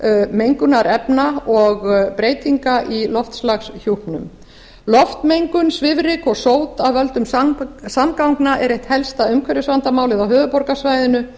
mengunarefna og breytinga í loftslagshjúpnum loftmengun svifryk og sót af völdum samgangna er eitt helsta umhverfisvandamálið á höfuðborgarsvæðinu